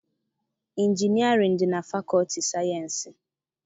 Injinịarịn dị na fakọọtị sayịensị.